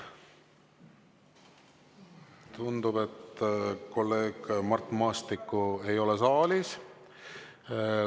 Tundub, et kolleeg Mart Maastikku ei ole saalis.